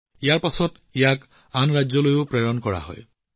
ইয়াৰ পিছত ইয়াক আন ৰাজ্যলৈও প্ৰেৰণ কৰা হয়